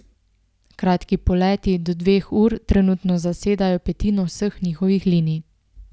Kratki poleti, do dveh ur, trenutno zasedajo petino vseh njihovih linij.